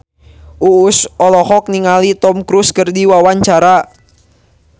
Uus olohok ningali Tom Cruise keur diwawancara